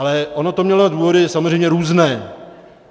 Ale ono to mělo důvody samozřejmě různé.